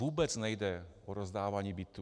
Vůbec nejde o rozdávání bytů.